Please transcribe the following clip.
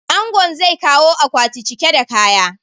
Angon zai kawo akwati cike da kaya.